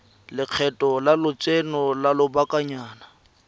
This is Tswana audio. lekgetho la lotseno lwa lobakanyana